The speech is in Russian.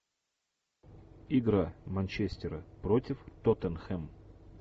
игра манчестера против тоттенхэм